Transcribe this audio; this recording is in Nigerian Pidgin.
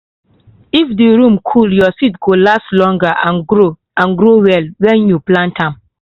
if the room cool your seed go last longer and grow and grow well when you plant am.